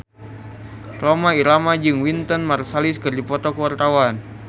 Rhoma Irama jeung Wynton Marsalis keur dipoto ku wartawan